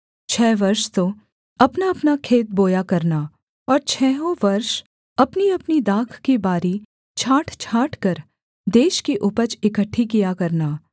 छः वर्ष तो अपनाअपना खेत बोया करना और छहों वर्ष अपनीअपनी दाख की बारी छाँट छाँटकर देश की उपज इकट्ठी किया करना